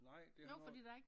Nej det har noget